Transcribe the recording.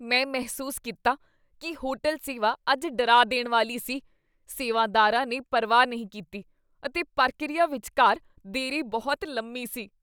ਮੈਂ ਮਹਿਸੂਸ ਕੀਤਾ ਕੀ ਹੋਟਲ ਸੇਵਾ ਅੱਜ ਡਰਾ ਦੇਣ ਵਾਲੀ ਸੀ। ਸੇਵਾਦਾਰਾ ਨੇ ਪਰਵਾਹ ਨਹੀਂ ਕੀਤੀ ਅਤੇ ਪ੍ਰਕਿਰਿਆ ਵਿਚਕਾਰ ਦੇਰੀ ਬਹੁਤ ਲੰਮੀ ਸੀ।